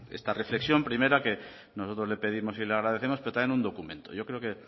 esta reflexión primera que nosotros le pedimos y le agradecemos pero también un documento yo creo que